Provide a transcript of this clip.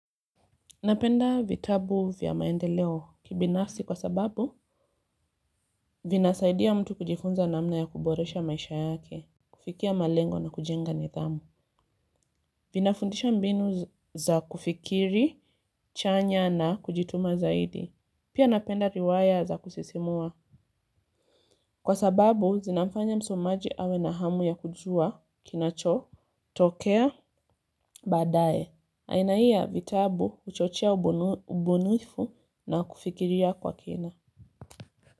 Napenda vitabu vya maendeleo kibinafsi kwa sababu, vinasaidia mtu kujifunza namna ya kuboresha maisha yake, kufikia malengo na kujenga nidhamu. Vinafundisha mbinu za kufikiri, chanya na kujituma zaidi. Pia napenda riwaya za kusisimua. Kwa sababu, zinafanya msomaji awe na hamu ya kujua, kinachotokea, baadaye. Aina hii ya vitabu huchochea ubunifu na kufikiria kwa kina.